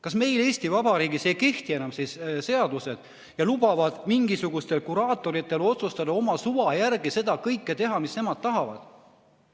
Kas meil Eesti Vabariigis siis ei kehti enam seadused ja lubatakse mingisugustel kuraatoritel otsustada oma suva järgi teha kõike, mis nemad tahavad?